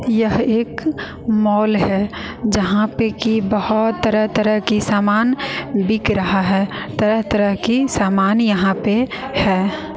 यह एक मॉल है यहां पे कि बहुत तरह तरह की सामान बिक रहा है तरह तरह की सामान यहां पे है।